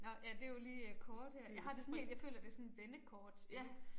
Nåh ja det jo lige øh kort her. Jeg har det sådan helt jeg føler det sådan et vendekortspil